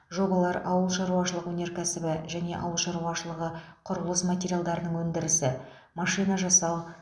жобалар ауылшаруашылығы өнеркәсібі және ауыл шаруашылығы құрылыс материалдарының өндірісі машинажасау